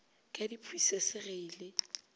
ka diphusese ge e le